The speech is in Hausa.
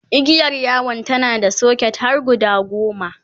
igiyar yawon tana da socket har guda goma